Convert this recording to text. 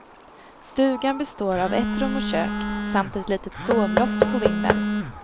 Stugan består av ett rum och kök samt ett litet sovloft på vinden.